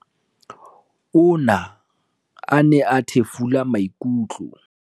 "Ona a ne a thefula maikutlo."